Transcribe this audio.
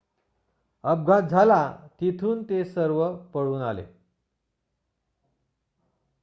अपघात झाला तिथून ते सर्व पळून आले